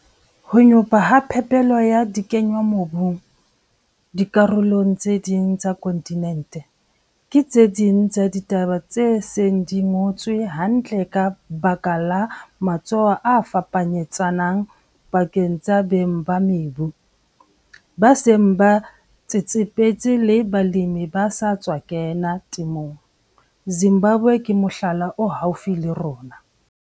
Ho nyopa ha phepelo ya dikenngwamobung dikarolong tse ding tsa khonthinente ke tse ding tsa ditaba tse seng di ngotswe hantle ka baka la matsoho a fapanyetsanang pakeng tsa beng ba mebu ba seng ba tsetsepetse le balemi ba sa tswa kena temong, Zimbabwe ke mohlala o haufi le rona.